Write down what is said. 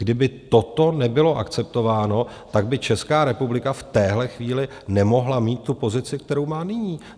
Kdyby toto nebylo akceptováno, tak by Česká republika v téhle chvíli nemohla mít tu pozici, kterou má nyní.